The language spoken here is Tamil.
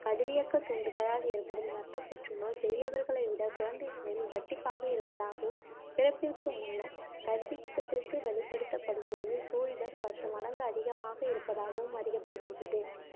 கதிரியக்கத் தூண்டுதலால் ஏற்படும் இரத்தப் புற்றுநோய் பெரியவர்களை விடக் குழந்தைகளில் இரட்டிப்பாக இருப்பதாகவும், பிறப்பிற்கு முன்னர் கதிரியக்கத்திற்கு வெளிப்படுத்தப்படும்போது, சூழிடர் பத்து மடங்கு அதிகமாக இருப்பதாகவும் அறியப்படுகின்றது